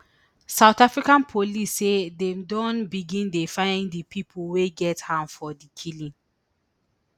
south africa police say dem don begin dey find di pipo wey get hand for di killing